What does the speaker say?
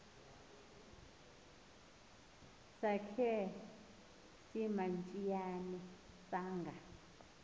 sakhe simantshiyane sanga